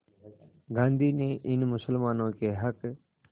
गांधी ने इन मुसलमानों के हक़